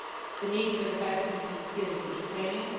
the need for investments in skills and training